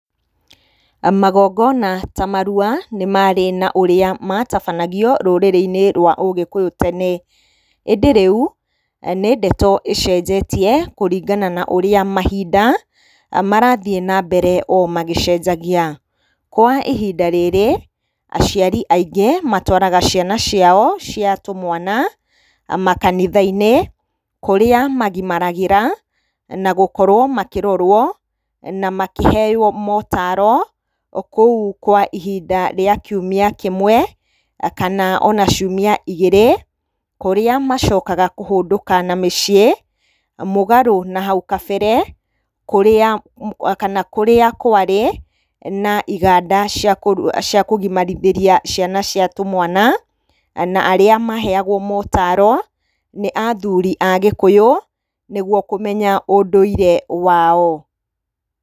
Magongona ta marua nĩ marĩ na ũrĩa matabanagio rũrĩrĩ-inĩ rwa ũgĩkũyũ tene, ĩndĩ rĩu, nĩ ndeto ĩcenjetie kũringana na ũrĩa mahinda marathiĩ na mbere o magĩcenjagia, kwa ihinda rĩrĩ, aciari aingĩ matwaraga ciana ciao cia tũmwana makanitha-inĩ, kũrĩa magimagĩra, na gũkorwo makĩrorwo na makĩheyo mataro, kũu kwa ihinda rĩa kiumia kĩmwe, kana ona ciumia ikgĩrĩ, kũrĩa macokaga kũhũndũka na mĩciĩ, mũgarũ na hau gabere, kũrĩa kana kũrĩa kwarĩ na iganda cia kũru cia kũgimarithĩria ciana cia tũmwana, na arĩa maheyagwo motaro, nĩ athuri Agĩkũyũ, nĩguo kũmenya ũndũire wao.